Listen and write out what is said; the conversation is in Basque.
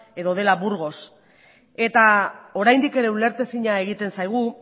edo dela burgos eta oraindik ere ulertezina egiten zaigu